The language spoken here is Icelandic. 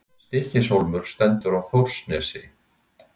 Stykkishólmur stendur á Þórsnesi.